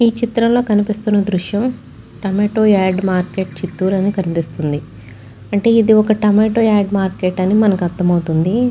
ఈ చిత్రంలో కనిపిస్తున్న దృశ్యం టమాటో యాడ్ మార్కెట్ చిత్తూర్ అని కనిపిస్తుంది. అంటే ఇది ఒక టమాటో యాడ్ మార్కెట్ . అని మనకు అర్థమవుతుంది.